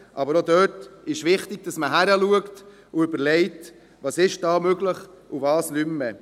Aber auch dort ist es wichtig, dass man hinschaut und überlegt, was möglich ist und was nicht mehr.